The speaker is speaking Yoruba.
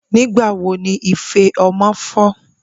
Nigbawo ni ife ọmọ fọ?